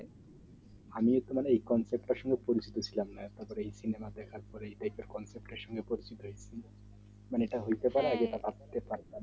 আমিও তোমার এই contraction পরিচিত ছিলাম না তারপরে সিনেমা দেখার পরে contraction পরিচিত হইছি